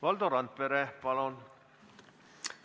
Valdo Randpere, palun!